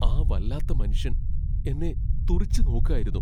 ആ വല്ലാത്ത മനുഷ്യൻ എന്നെ തുറിച്ചുനോക്കായിരുന്നു.